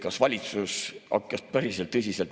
Kas valitsus päris tõsiselt?